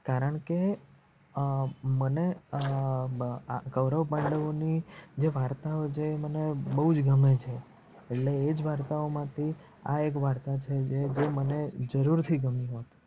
કારણકે અ મને અ આ ગવરવભાઈ લોકો ની જે વાર્તાઓ છે આ મને બોજ ગમે છે એટલેજ એજ વાર્તાઓ મા થી એ એક વાર્તા છે જે મને જરૂર થી ગમી હોત.